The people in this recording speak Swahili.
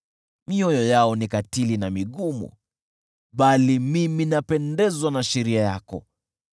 Mioyo yao ni katili na migumu, bali mimi napendezwa na sheria yako.